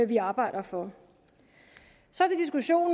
vi arbejder for